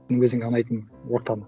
өзіңе ұнайтын ортаны